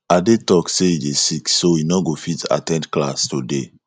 ade talk say he dey sick so he no go fit at ten d class today